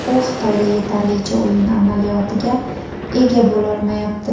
U Xitoyda yetarlicha o‘yin amaliyotiga ega bo‘lolmayapti.